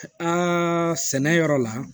Aa sɛnɛ yɔrɔ la